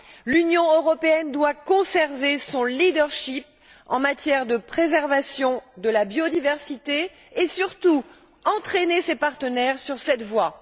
L'Union européenne doit conserver son rôle de premier plan en matière de préservation de la biodiversité et, surtout, entraîner ses partenaires dans cette voie.